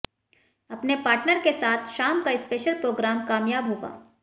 अपने पार्टनर के साथ शाम का स्पेशल प्रोग्राम कामयाब होगा